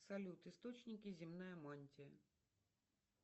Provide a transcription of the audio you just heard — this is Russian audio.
салют источники земная мантия